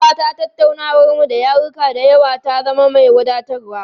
Ina fata tattaunawarmu ta yaruka da yawa ta zama mai wadatarwa.